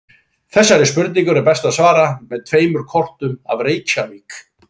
Þessari spurningu er best að svara með tveimur kortum af Reykjavík.